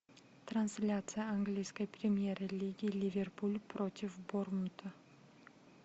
трансляция английской премьер лиги ливерпуль против борнмута